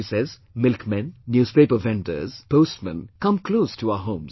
She says milkmen, newspaper vendors, postmen come close to our homes